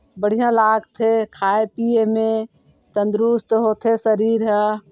बढ़िया लागथे खाये-पिये में तंदरुस्त होथे शरीर ह।